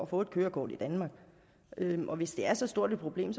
få et kørekort i danmark og hvis det er så stort et problem